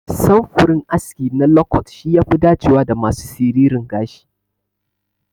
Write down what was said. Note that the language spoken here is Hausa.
Samfurin aski na lokot shi yafi dacewa da masu siririn gashi.